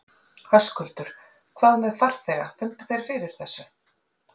Höskuldur: Hvað með farþega, fundu þeir fyrir þessu?